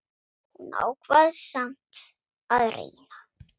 Hún ákvað samt að reyna.